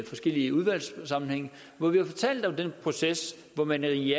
forskellige udvalgssammenhænge hvor vi har fortalt om den proces hvor man i